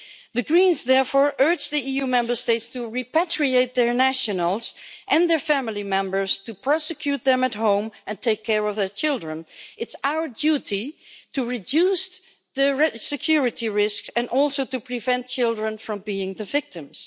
The Greens therefore urge the EU Member States to repatriate their nationals and their family members to prosecute them at home and take care of their children. It's our duty to reduce the security risk and also to prevent children from being the victims.